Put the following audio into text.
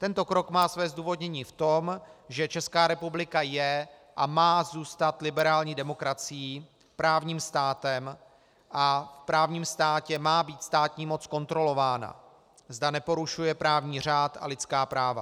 Tento krok má své zdůvodnění v tom, že Česká republika je a má zůstat liberální demokracií, právním státem a v právním státě má být státní moc kontrolována, zda neporušuje právní řád a lidská práva.